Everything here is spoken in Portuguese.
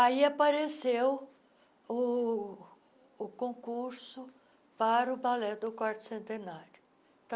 Aí apareceu o o concurso para o Balé do Quarto Centenário.